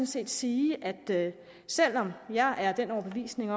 set sige at selv om jeg er af den overbevisning